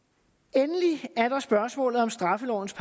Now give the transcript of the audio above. endelig er der spørgsmålet om straffelovens